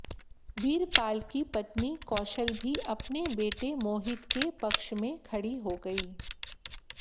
वीरपाल की पत्नी कौशल भी अपने बेटे मोहित के पक्ष में खड़ी हो गई